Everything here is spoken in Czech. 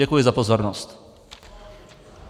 Děkuji za pozornost.